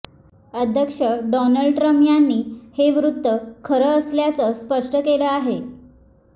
अध्यक्ष Donald Trump यांनीच हे वृत्त खरं असल्याचं स्पष्ट केलं आहे